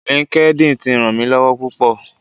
LinkedIn ti ràn mí lọ́wọ́ púpò.